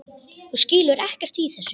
Þú skilur ekkert í þessu.